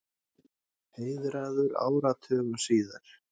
Heiðraður áratugum síðar